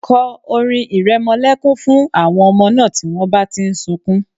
Kọ orin ìrẹmọlẹ́kún fún àwọn ọmọ náà tí wọ́n bá ti ń sunkún